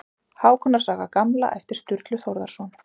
Hákonar saga gamla eftir Sturlu Þórðarson.